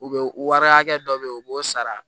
U bɛ wari hakɛ dɔ bɛ yen u b'o sara